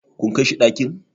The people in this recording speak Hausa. kun Kai shi ɗakin?